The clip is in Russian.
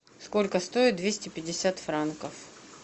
сколько стоят двести пятьдесят франков